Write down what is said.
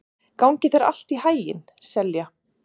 Gangi þér allt í haginn, Selja.